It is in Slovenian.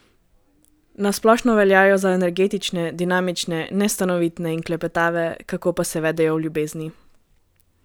Na splošno veljajo za energične, dinamične, nestanovitne in klepetave, kako pa se vedejo v ljubezni?